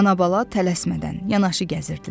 Ana-bala tələsmədən yanaşı gəzirdilər.